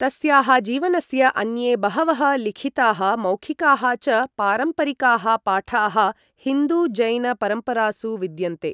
तस्याः जीवनस्य अन्ये बहवः लिखिताः मौखिकाः च पारम्परिकाः पाठाः हिन्दु जैन परम्परासु विद्यन्ते।